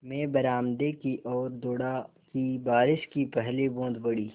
मैं बरामदे की ओर दौड़ा कि बारिश की पहली बूँद पड़ी